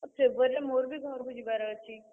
ଆଉ February ରେ ମୋର ବି ଘରୁକୁ ଯିବାର ଅଛି।